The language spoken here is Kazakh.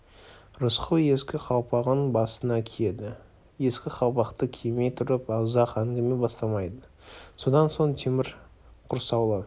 рысқұл ескі қалпағын басына киеді ескі қалпақты кимей тұрып ұзақ әңгіме бастамайды содан соң темір құрсаулы